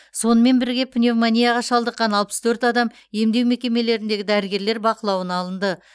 сонымен бірге пневмонияға шалдыққан алпыс төрт адам емдеу мекемелеріндегі дәрігерлер бақылауына алынды